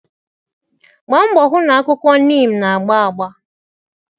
Gbaa mbọ hụ na akwụkwọ neem na-agba agba.